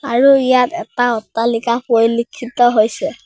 আৰু ইয়াত এটা অট্টালিকা পৰিলেক্ষিত হৈছে।